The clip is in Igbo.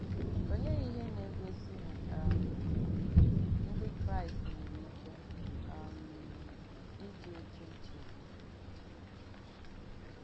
Òleè ìhé nà-ègósì nà um Ndí Kráìst nwèrè ìkè um ìdì òkè nchègbù?